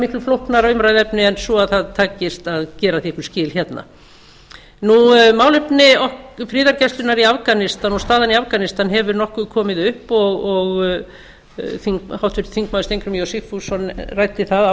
miklu flóknara umræðuefni en svo að það takist að gera því einhver skil hérna málefni friðargæslunnar í afganistan og staðan í afganistan hefur nokkuð komið upp og háttvirtur þingmaður steingrímur j sigfússon ræddi það